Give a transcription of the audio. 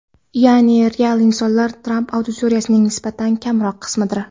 Ya’ni, real insonlar Tramp auditoriyasining nisbatan kamroq qismidir.